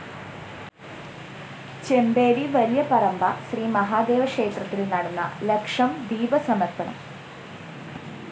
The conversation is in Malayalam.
ചെമ്പേരി വലിയപറമ്പ ശ്രീ മഹാദേവ ക്ഷേത്രത്തില്‍ നടന്ന ലക്ഷംദീപ സമര്‍പ്പണം